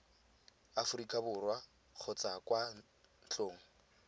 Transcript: aforika borwa kgotsa kwa ntlong